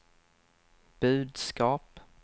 budskap